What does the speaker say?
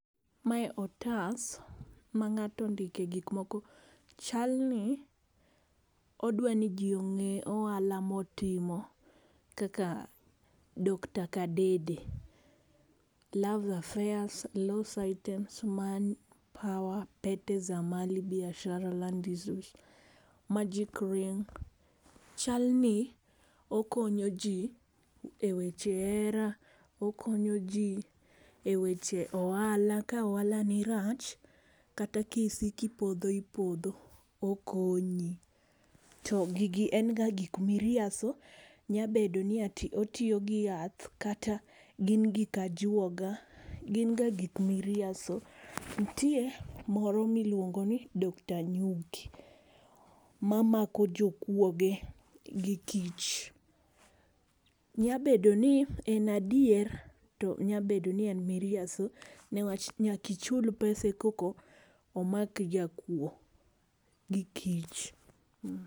Mae otas ma ng'ato ondike gik moko chal ni odwa ni ji ong'e ohala ma otimo kaka doctor Kadede kaka love affairs, lost items, money power, pete za mali, biashara,,magic ring. chal ni okonyo ji e weche hera, okonyo ji e weche ohala ka ohala ni rach kata ki isiko ipodho ipodho okonyi. To gigi en ga gik miriaso nyabedo ni ati otiyo gi yath kata gin gik ajuoga gin ga gik miriaso. Nitie moro mi iluongo ni doctor nyuki ma mamko jo kwoge gi kich. Nyabedo ni en adieri to nyabedo ni en miriambo ni wach nyaka ichul pesa e ka omak jakuo gi kich.